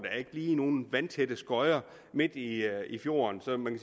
er ikke lige nogen vandtætte skodder midt i i fjorden så man